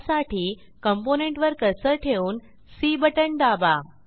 त्यासाठी कॉम्पोनेंट वर कर्सर ठेवून सी बटण दाबा